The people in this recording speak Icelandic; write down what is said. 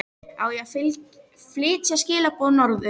Á ég að flytja skilaboð norður?